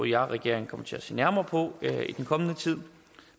jeg og regeringen kommer til at se nærmere på i den kommende tid